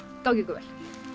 gangi ykkur vel